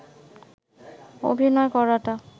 অভিনয় করাটা